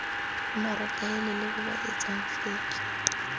bomaratahelele ba ba etsang feke